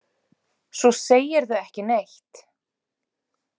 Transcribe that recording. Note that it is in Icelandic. Svo segirðu ekki neitt.